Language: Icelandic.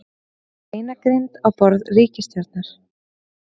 Beinagrind á borði ríkisstjórnar